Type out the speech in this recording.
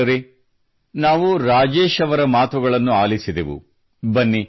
ಜತೆಗಾರರೇ ನಾವು ರಾಜೇಶ್ ಅವರ ಮಾತುಗಳನ್ನು ಆಲಿಸಿದೆವು